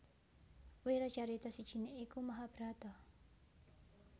Wiracarita sijiné iku Mahabharata